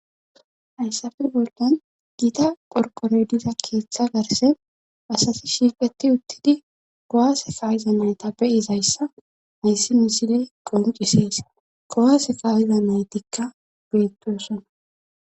hayssafe boldan giita phorqorediza keeththa garse asasi shiiqeti uttidi gowase kaayiza nayta beyizayssa mayssi misiley qoncisees kowase kawiza naytikka beettosona